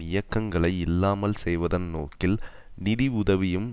இயக்கங்களை இல்லாமல் செய்வதன் நோக்கில் நிதி உதவியும்